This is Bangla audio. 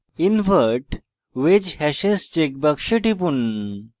invert wedge hashes check box টিপুন